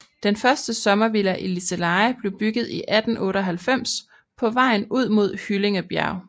Den første sommervilla i Liseleje blev bygget i 1898 på vejen ud mod Hyllingebjerg